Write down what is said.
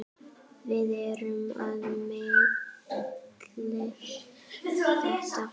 Við erum að melta þetta.